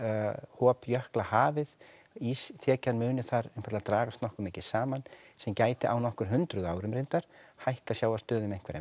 hop jökla hafið ísþekjan muni þar einfaldlega dragast nokkuð mikið saman sem gæti á nokkur hundruð árum reyndar hækkað sjávarstöðu um einhverja